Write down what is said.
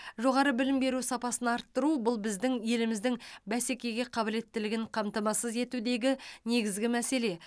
жоғары білім беру сапасын арттыру бұл біздің еліміздің бәсекеге қабілеттілігін қамтамасыз етудегі негізгі мәселе